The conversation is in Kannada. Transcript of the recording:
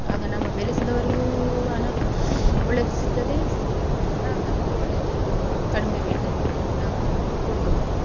ಆಗ ನಮ ಬೆಳೆಸಿದವರಿಗೂ ಹಣ ಒಳ್ಳೇದು ಸಿಗ್ತದೆ ಗ್ರಾಹಕರಿಗೂ ಒಳ್ಳೇದು ಕಡಿಮೆ rate ಅಲ್ಲಿ ನಾವು ಕೊಡ್ಬೋದು.